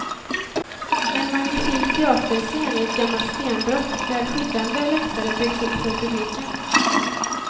En magnifik teaterscen i ett gammalt stenbrott där skyddande läktare byggs upp för publiken.